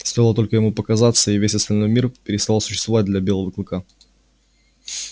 стоило только ему показаться и весь остальной мир переставал существовать для белого клыка